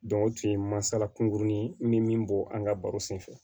o tun ye masala kunkurunin ye n bɛ min bɔ an ka baro senfɛ